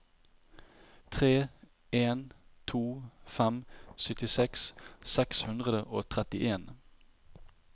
tre en to fem syttiseks seks hundre og trettien